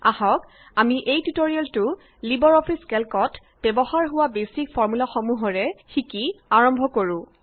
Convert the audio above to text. আহক আমি এই টিউটৰিয়েলটো লিবাৰ অফিচ কেল্কত ব্যৱহাৰ হোৱা বেচিক ফৰ্মূলাসমূহেৰে শিকি আৰম্ভ কৰোঁ